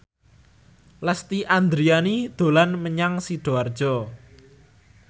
Lesti Andryani dolan menyang Sidoarjo